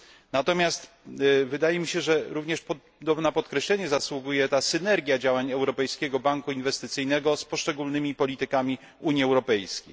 Natomiast wydaje mi się, że również na podkreślenie zasługuje ta synergia działań Europejskiego Banku Inwestycyjnego z poszczególnymi politykami Unii Europejskiej.